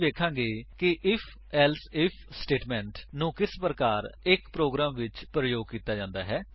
ਅਸੀ ਵੇਖਾਂਗੇ ਕਿ IfElse ਆਈਐਫ ਸਟੇਟਮੇਂਟ160 ਨੂੰ ਕਿਸ ਪ੍ਰਕਾਰ ਇੱਕ ਪ੍ਰੋਗਰਾਮ ਵਿੱਚ ਪ੍ਰਯੋਗ ਕੀਤਾ ਜਾ ਸਕਦਾ ਹੈ